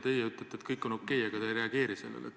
Teie ütlete, et kõik on okei, aga te ei reageeri sellele.